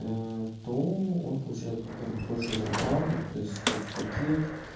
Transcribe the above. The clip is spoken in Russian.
то он получает во-первых больше зарплату то есть соц пакет